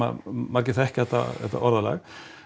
margir þekkja þetta orðalag